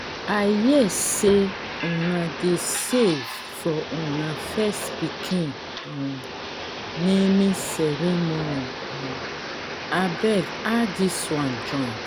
she tell me say she dey save money to take buy her school textbook.